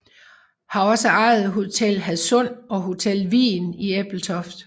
Har også ejet Hotel Hadsund og Hotel Vigen i Ebeltoft